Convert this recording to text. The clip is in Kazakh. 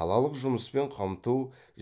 қалалық жұмыспен қамту